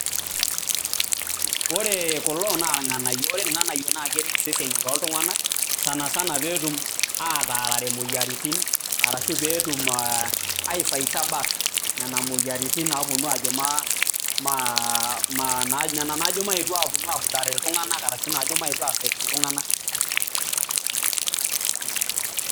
Ore kulo naa irng'anayio. Ore irng'anayio naa keret iseseni loo lntung'anak petum sana sana ataarare imoyiaritin ashu peetum ai fighter back nena moyiaritin naponu ajo ma maa ma nena najo maenu apudare iltung'anak arashu nena najo maetu affect iltung'anak .